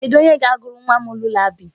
Kedụ onye ga-agụrụ nwa m lulabaị?